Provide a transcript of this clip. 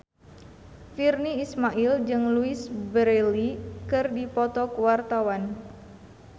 Virnie Ismail jeung Louise Brealey keur dipoto ku wartawan